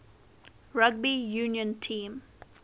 rugby union team